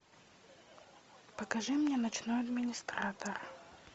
покажи мне ночной администратор